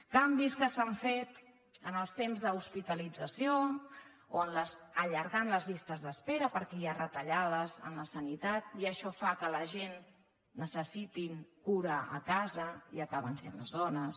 canvis que s’han fet en els temps d’hospi·talització o allargant les llistes d’espera perquè hi ha retallades a la sanitat i això fa que la gent necessiti cura a casa i acaben sent les dones